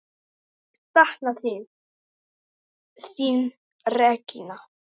Ég sakna þín, þín Regína.